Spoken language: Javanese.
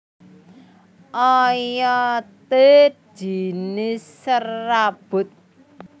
Oyodé jinis serabut